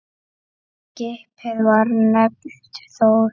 Skipið var nefnt Þór.